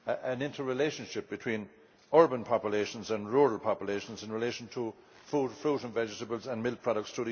an inter relationship between urban populations and rural populations in relation to fruit and vegetables and milk products.